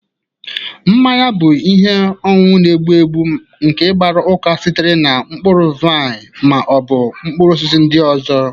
Mmanya bụ ihe ọṅụṅụ na-egbu egbu nke gbara uka sitere na mkpụrụ vaịn ma ọ bụ mkpụrụ osisi ndị ọzọ